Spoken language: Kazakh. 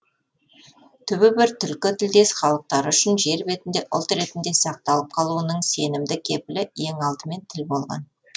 түбі бір түркі тілдес халықтары үшін жер бетінде ұлт ретінде сақталып қалуының сенімді кепілі ең алдымен тіл болған